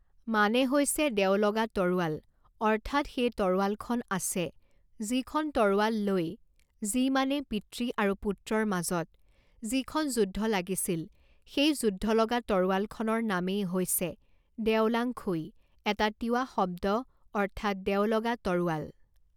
মানে হৈছে দেও লগা তৰোৱাল অৰ্থাৎ সেই তৰোৱালখন আছে যিখন তৰোৱাল লৈ যি মানে পিতৃ আৰু পুত্ৰৰ মাজত যিখন যুদ্ধ লাগিছিলে সেই যুদ্ধ লগা তৰোৱালখনৰ নামেই হৈছে দেও লাঙখুই এটা তিৱা শব্দ অৰ্থাৎ দেও লগা তৰোৱাল